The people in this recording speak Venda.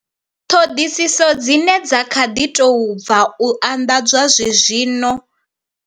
Ṱhoḓisiso dzine dza kha ḓi tou bva u anḓadzwa zwenezwino.